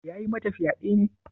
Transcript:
Ya yi mata fyade ne?